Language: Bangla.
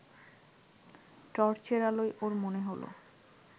টর্চের আলোয় ওর মনে হল